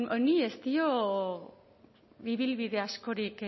honi ez dio ibilbide askorik